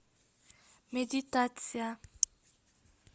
медитация